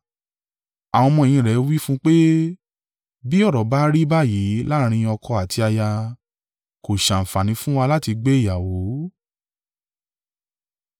Àwọn ọmọ-ẹ̀yìn rẹ̀ wí fún un pé, “Bí ọ̀rọ̀ bá rí báyìí láàrín ọkọ àti aya, kó ṣàǹfààní fún wa láti gbé ìyàwó.”